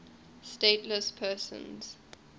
stateless persons